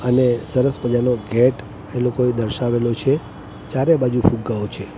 અને સરસ મજાનો ગેટ એ લોકોએ દર્શાવેલો છે ચારે બાજુ ફુગ્ગાઓ છે.